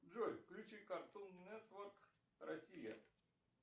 джой включи картун нетворк россия